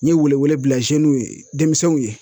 N ye wele wele ye denmisɛnw ye